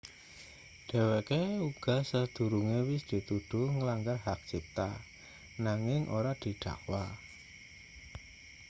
dheweke uga sadurunge wis dituduh nglanggar hak cipta nanging ora didakwa